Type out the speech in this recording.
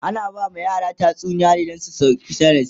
ana ba ma yara tatsuniya ne Dan su ɗauki darasi